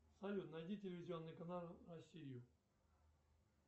салют найди телевизионный канал россию